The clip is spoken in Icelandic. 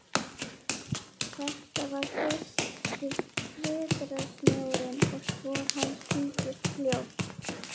Þetta var fyrsti vetrarsnjórinn og spor hans týndust fljótt.